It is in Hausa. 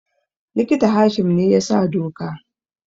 Likita Hashim ne ya sa doka